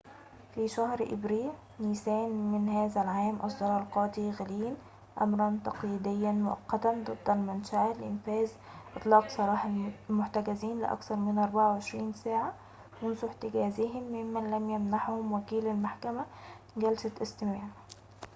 في شهر أبريل/نيسان من هذا العام، أصدر القاضي غلين أمراً تقييدياً مؤقتاً ضد المنشأة لإنفاذ إطلاق سراح المحتجزين لأكثر من 24 ساعة منذ احتجازهم ممن لم يمنحهم وكيل المحكمة جلسة استماع